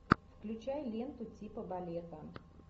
включай ленту типа балета